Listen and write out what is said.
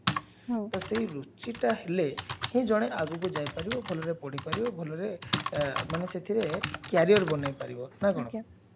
ହଁ ଟା ସେଇ ରୁଚିଟା ହେଲେ ହିଁ ଜଣେ ଆଗକୁ ଯାଇପାରିବ ଭଲରେ ପଢିପାରିବା ଭଲରେ ମାନେ ସେଥିରେ career ବୋନେଇ ପାରିବ ନା କଣ ଆଜ୍ଞା